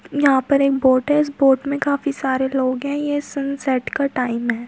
यहाँ पर इक बोट है उस बोट में काफी सारे लोग है ये सनसेट का टाइम है।